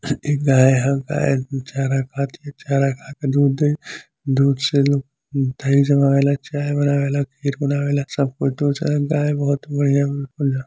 एक गाय ह गाय चारा खाती है चारा खाके दूध दे दूध से लोग दही जमावेला चाय बनावेला खीर बनावेला सब कुछ दो चार गाय बहुत बढ़िया --